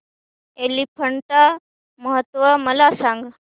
एलिफंटा महोत्सव मला सांग